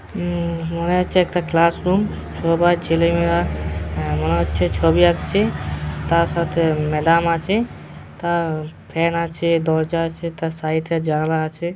মনে হচ্ছে একটা ক্লাস রুম সবার ছেলে মেয়েরা মনে হচ্ছে ছবি আঁকছে তার সাথে ম্যাডাম আছে। তা ফ্যান আছে দরজা আছে তার সাইড - এ জানালা আছে।